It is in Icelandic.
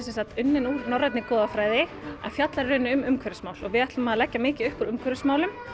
unnin úr norrænni goðafræði en fjallar í rauninni um umhverfismál og við ætlum að leggja mikið upp úr umhverfismálum